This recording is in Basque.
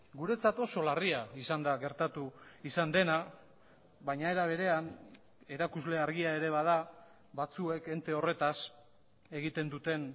guretzat oso larria izan da gertatu izan dena baina era berean erakusle argia ere bada batzuek ente horretaz egiten duten